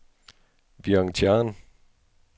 Vientiane